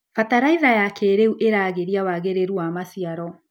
Bataraitha ya kĩrĩu iragĩria wagĩrĩru wa maciaro.